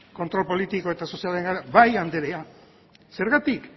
kontrol politiko eta sozial bai andrea zergatik